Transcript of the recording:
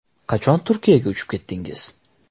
Qachon Turkiyaga uchib ketdingiz?